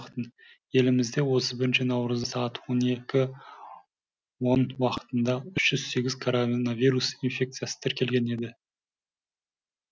елімізде отыз бірінші наурызда сағат он екі он уақытында үш жүз сегіз коронавирус инфекциясы тіркелген еді